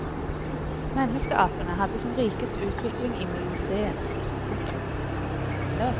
Menneskeapene hadde sin rikeste utvikling i miocen. punktum